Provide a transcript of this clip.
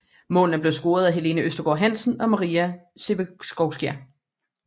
Målene blev scoret af Helene Østergaard Hansen og Maria Sevcikova